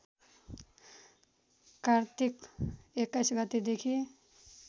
कार्तिक २१ गतेदेखि